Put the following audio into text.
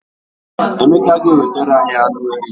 Emeka ga- ewetara anyị anụ ele.